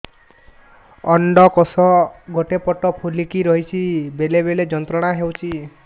ଅଣ୍ଡକୋଷ ଗୋଟେ ପଟ ଫୁଲିକି ରହଛି ବେଳେ ବେଳେ ଯନ୍ତ୍ରଣା ହେଉଛି